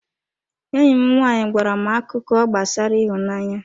Enyi m nwanyị gwara m akụkọ gbasara ịhụnanya.